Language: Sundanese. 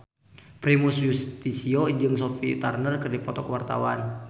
Primus Yustisio jeung Sophie Turner keur dipoto ku wartawan